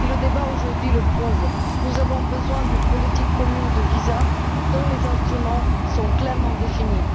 Le débat aujourd'hui le prouve nous avons besoin d'une politique commune de visas dont les instruments soient clairement définis.